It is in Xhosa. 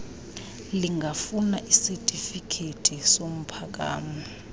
lingafuna isatifikethi somphakamo